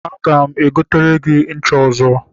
Aga m egotere gị ncha ọzọ.